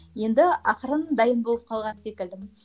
енді ақырын дайын болып қалған секілдімін